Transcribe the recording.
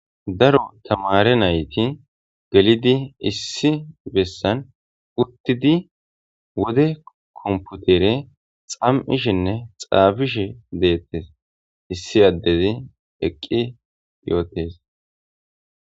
Daro tamaare nayti gelidi issi bessan uttidi wode komputere xam7ishenne xaafishe deettees issi addezi eqqi yootees.